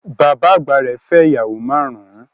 Bàbá àgbà rẹ̀ fẹ́ ìyàwó márùn-ún